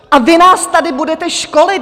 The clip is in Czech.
A vy nás tady budete školit!